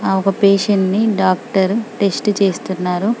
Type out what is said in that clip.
ఆహ్ ఒక పేషెంట్ ని డాక్టర్ టెస్ట్ చేస్తున్నారు.